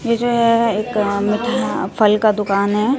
ये जो है एक मीठा फल का दुकान है।